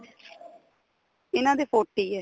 ਇਹਨਾ ਦੇ forty ਏ